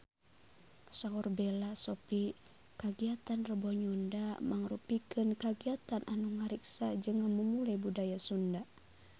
Saur Bella Shofie kagiatan Rebo Nyunda mangrupikeun kagiatan anu ngariksa jeung ngamumule budaya Sunda